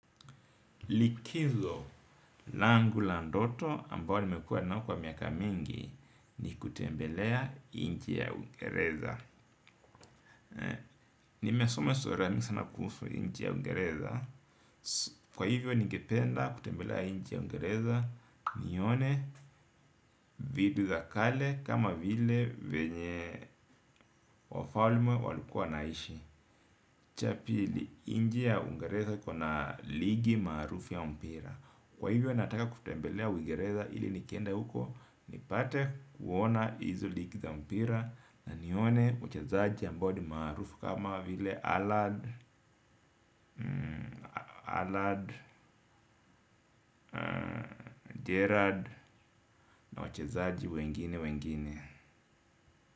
Likizo langu la ndoto ambao nimekua nao kwa miaka mingi ni kutembelea nchi ya Uingereza nimesoma surani sana kuhusu nchi ya Uingereza, kwa hivyo ningependa kutembelea nchi ya Uingereza nione vitu za kale kama vile venye wafalme walikua wanaishi, cha pili nchi ya Uingereza iko na ligi maarufu ya mpira, kwa hivyo nataka kutembelea Uingereza ili nikienda uko ni pate kuona izo ligi za mpira, na nione wachezaji ambao ni maarufu kama vile Halland, Halland, Gerald na wachezaji wengine wengine.